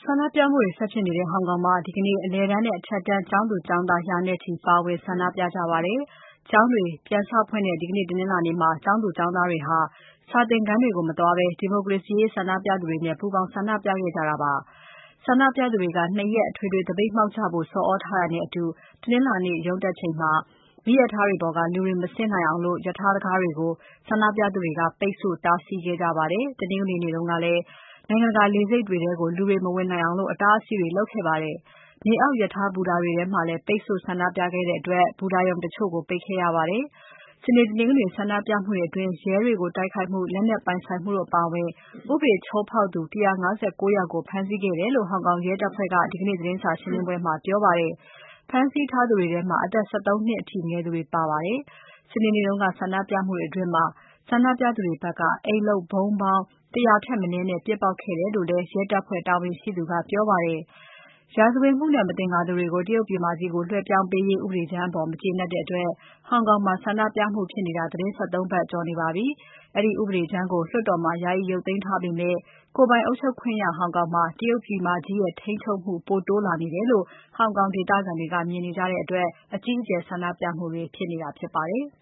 န္ဒပြမှုတွေဆက်ဖြစ်နေတဲ့ ဟောင်ကောင်မှာ ဒီကနေ့ အလယ်တန်းနဲ့ အထက်တန်းကျောင်းသူ ကျောင်းသား ရာနဲ့ချီ ပါဝင်ဆန္ဒပြခဲ့ကြပါတယ်။ ကျောင်းတွေပြန်ဖွင့်တဲ့ ဒီနေ့တနင်္လာနေ့မှာ ကျောင်းသူ ကျောင်းသားတွေဟာ စာသင်ခန်းတွေကို မသွားဘဲ ဒီမိုကရေစီရေးဆန္ဒပြသူတွေနဲ့ ပူးပေါင်းဆန္ဒပြခဲ့ကြပါတယ်။ ဆန္ဒပြသူတွေက ၂ ရက်အထွေထွေသပိတ်မှောက်ကြဖို့ ဆော်သြထားတာနဲ့အတူ တနင်္လာနေ့ ရုံးတက်ချိန် မီးရထားတွေပေါ်က လူတွေမဆင်းနိုင်အောင် ရထားတံခါးတွေကို ဆန္ဒပြသူတွေ ပိတ်ဆို့တားဆီးခဲ့ကြပါတယ်။ တနင်္ဂနွေနေ့ကလည်း နိုင်ငံတကာလေဆိပ်တွေထဲ လူတွေမဝင်နိုင်အောင် အတားအဆီးတွေလုပ်ခဲ့ပါတယ်။ မြေအောက်ရထားဘူတာတွေထဲမှာလည်း ပိတ်ဆို့ ဆန္ဒပြခဲ့ကြတဲ့အတွက် ဘူတာရုံတချို့ကို ပိတ်ခဲ့ရပါတယ်။ စနေ၊ တနင်္ဂနွေဆန္ဒပြမှုတွေအတွင်း ရဲတွေကို တိုက်ခိုက်မှု လက်နက် ပိုင်ဆိုင်မှုတို့အပါအဝင် ဥပဒေချိုးဖောက်သူ ၁၅၉ ယောက်ကို ဖမ်းဆီးခဲ့တယ်လို့ ဟောင်ကောင်ရဲတပ်ဖွဲ့က ဒီကနေ့ သတင်းစာရှင်းပွဲမှာ ပြောပါတယ်။ ဖမ်းဆီးထားသူတွေထဲမှာ အသက် ၁၃ နှစ်အထိ ငယ်သူတွေပါပါတယ်။ စနေနေ့က ဆန္ဒပြမှုတွေအတွင်း ဆန္ဒပြသူတွေဖက်က အိမ်လုပ်ဗုံးပေါင်း ၁၀၀ ထက်မနည်းနဲ့ ပစ်ပေါက်ခဲ့တယ်လို့လည်း ရဲတပ်ဖွဲ့တာဝန်ရှိသူက ပြောပါတယ်။ ရာဇဝတ်မှုနဲ့ မသင်္ကာသူတွေကို တရုတ်ပြည်မကြီးကို လွှဲပြောင်းပေးရေး ဥပဒေကြမ်းအပေါ် မကျေနပ်တဲ့အတွက် ဟောင်ကောင်မှာ ဆန္ဒပြမှုတွေ ဖြစ်နေတာ သီတင်း ၁၃ ပတ်ကျော်နေပါပြီ။ အဲဒီဥပဒေကြမ်းကို လွှတ်တော်မှာ ယာယီရုပ်သိမ်းထားပေမဲ့ ကိုယ်ပိုင်အုပ်ချုပ်ခွင့်ရ ဟောင်ကောင်မှာ တရုတ်ပြည်မကြီးရဲ့ ထိန်းချုပ်မှု ပိုတိုးလာနေတယ်လို့ ဟောင်ကောင်ဒေသခံတွေက မြင်နေကြတဲ့အတွက် အကြီးအကျယ်ဆန္ဒပြမှုတွေဖြစ်နေတာဖြစ်ပါတယ်။